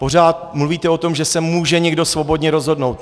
Pořád mluvíte o tom, že se může někdo svobodně rozhodnout.